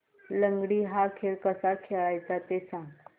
लंगडी हा खेळ कसा खेळाचा ते सांग